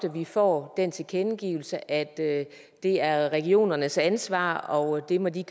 vi får den tilkendegivelse at det er regionernes ansvar og det må de